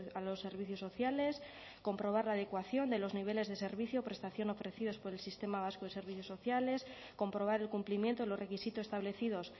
a los servicios sociales comprobar la adecuación de los niveles de servicio o prestación ofrecidos por el sistema vasco de servicios sociales comprobar el cumplimiento de los requisitos establecidos